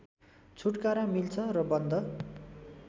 छुटकारा मिल्छ र बन्द